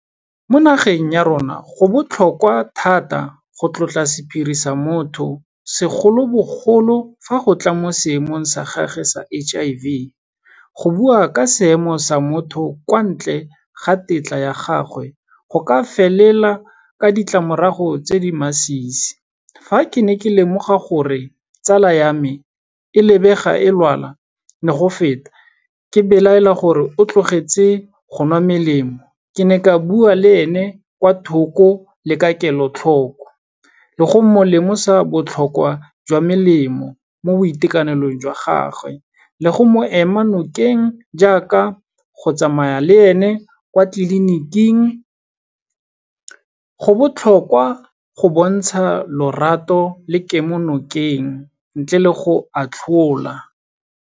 Mo nageng ya rona go botlhokwa thata go tlotla sephiri sa motho, segolobogolo fa go tla mo seemong sa gagwe sa H_I_V. Go bua ka seemo sa motho kwa ntle ga tetla ya gagwe, go ka felela ka ditlamorago tse di masisi. Fa ke ne ka lemoga gore tsala ya me, e lebega e lwala le go feta, ke belaela gore o tlogetse go nwa melemo, ke ne ka bua le ene kwa thoko le ka kelotlhoko, le go mo lemosa botlhokwa jwa melemo mo boitekanelong jwa gagwe le go mo ema nokeng jaaka go tsamaya le ene kwa tleliniking. Go botlhokwa go bontsha lorato le kemonokeng ntle le go atlhola.